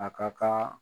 A ka kan